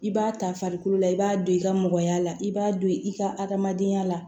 I b'a ta farikolo la i b'a don i ka mɔgɔya la i b'a don i ka adamadenya la